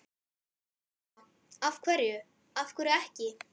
Lóa: Af hverju, af hverju ekki?